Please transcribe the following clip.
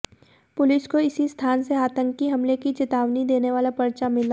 police को इसी स्थान से आतंकी हमले की चेतावनी देने वाला पर्चा मिला